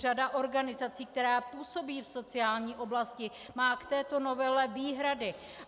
Řada organizací, které působí v sociální oblasti, má k této novele výhrady.